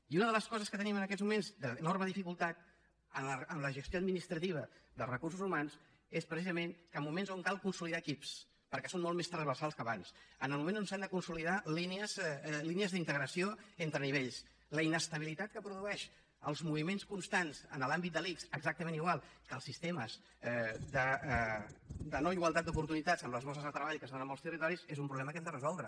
i una de les coses que tenim en aquests moments d’enorme dificultat en la gestió administrativa dels recursos humans és precisament que en moments que cal consolidar equips perquè són molt més transversals que abans en el moment que s’han de consolidar línies d’integració entre nivells la inestabilitat que produeixen els moviments constants en l’àmbit de l’ics exactament igual que els sistemes de no igualtat d’oportunitats en les borses de treball que es donen en molts territoris és un problema que hem de resoldre